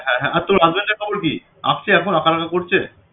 হ্যাঁ হ্যাঁ আর তোর husband এর খবর কি? আসছে আঁকাটাকা এখন করছে